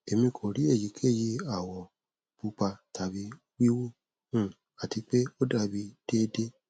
emi ko ri eyikeyi awọ pupa tabi wiwu um ati pe o dabi deede